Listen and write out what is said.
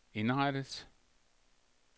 indrettet